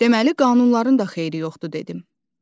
Deməli qanunların da xeyri yoxdur dedim.